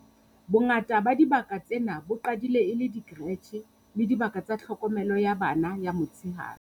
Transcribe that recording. Bongata ba dibaka tsena bo qadile e le dikeretjhe le dibaka tsa tlhokomelo ya bana ya motsheare.